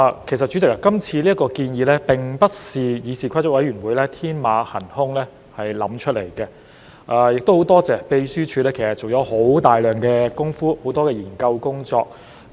代理主席，今次建議其實並非議事規則委員會天馬行空想出來的，亦很多謝立法會秘書處做了大量工夫和很多研究工作。